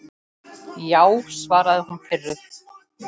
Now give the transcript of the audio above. Já, svaraði hún pirruð.